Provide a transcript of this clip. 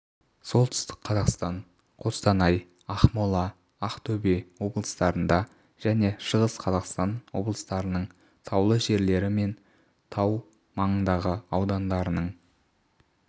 солтүстік қазақстан қостанай ақмола ақтөбе облыстарында және шығыс қазақстан облыстарының таулы жерлері мен тау маңындағы аудандарының